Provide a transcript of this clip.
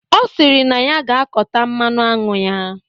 Ọ sịrị na ya ga-akọta mmanụ aṅụ ya.